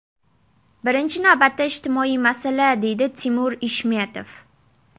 Birinchi navbatda ijtimoiy masala”, deydi Timur Ishmetov.